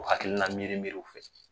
O hakilina miirimiiriw fɛ